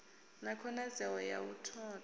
na khonadzeo ya u notha